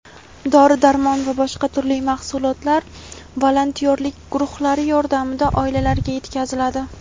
dori-darmon va boshqa tur mahsulotlar volontyorlik guruhlari yordamida oilalarga yetkaziladi.